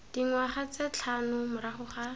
dingwaga tse tlhano morago ga